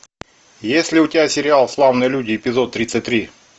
есть ли у тебя сериал славные люди эпизод тридцать три